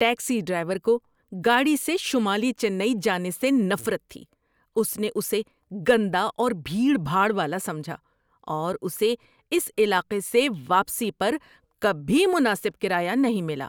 Taxi driver کو گاڑی سے شمالی چنئی جانے سے نفرت تھی۔ اس نے اسے گندا اور بھیڑ بھاڑ والا سمجھا، اور اسے اس علاقے سے واپسی پر کبھی مناسب کرایہ نہیں ملا۔